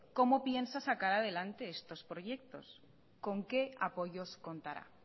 cómo piensa sacar adelante estos proyectos con qué apoyos contará